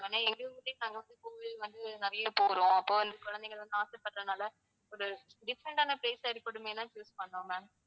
ஏன்னா எங்க ஊரிலேயே நாங்க வந்து கோவில் வந்து நிறைய போறோம். அப்ப வந்து குழந்தைங்க வந்து ஆசைப்படுறதுனால ஒரு different ஆன place ஆ இருக்கட்டுமேன்னு தான் choose பண்ணோம் ma'am